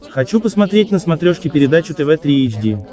хочу посмотреть на смотрешке передачу тв три эйч ди